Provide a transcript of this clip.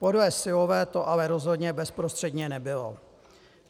Podle Syllové to ale rozhodně bezprostředně nebylo.